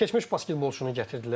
Keçmiş basketbolçunu gətirdilər.